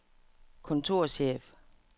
kontorchef